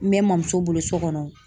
N bɛ n mɔmuso bolo so kɔnɔ.